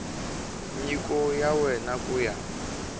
nyiko ya wena ku ya